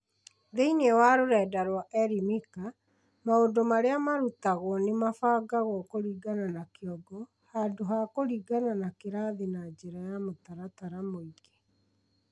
Thĩinĩ wa rũrenda rwa Elimika, maũndũ marĩa marutagwo nĩ mabangagwo kũringana na kĩongo, handũ ha kũringana na kĩrathi, na njĩra ya mũtaratara mũingĩ.